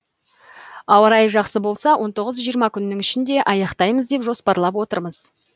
ауа райы жақсы болса он тоғыз жиырма күннің ішінде аяқтаймыз деп жоспарлап отырмыз